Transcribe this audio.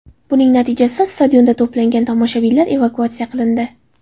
Buning natijasida stadionda to‘plangan tomoshabinlar evakuatsiya qilindi.